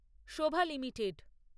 Shobha limited